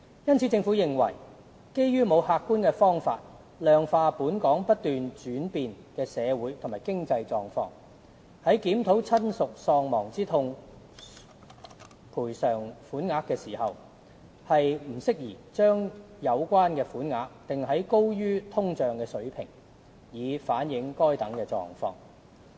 因此，政府認為，基於沒有客觀方法量化"本港不斷轉變的社會和經濟狀況"，在檢討親屬喪亡之痛賠償款額時，不宜把有關款額訂在高於通脹水平，以反映該等狀況。